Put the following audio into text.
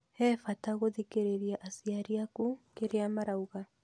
He bata gũthikĩrĩria aciari aku kĩrĩa marauga